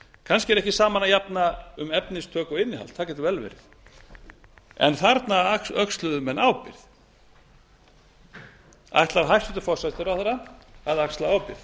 kannski er ekki saman að jafna um efnistök og innihald það getur vel verið en þarna öxluðu menn ábyrgð ætlar hæstvirtur forsætisráðherra að axla ábyrgð